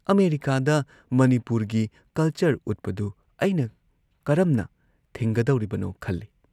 ꯑꯃꯦꯔꯤꯀꯥꯥꯗ ꯃꯅꯤꯄꯨꯔꯒꯤ ꯀꯜꯆꯔ ꯎꯠꯄꯗꯨ ꯑꯩꯅ ꯀꯔꯝꯅ ꯊꯤꯡꯒꯗꯧꯔꯤꯕꯅꯣ ꯈꯜꯂꯤ꯫